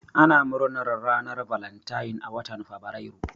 Ana murnar ranar valentine a watan fabrairu.